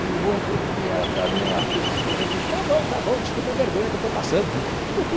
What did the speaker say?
E o outro, que era também um artista experiente, diz, está bom, está bom, desculpe a vergonha que eu estou passando.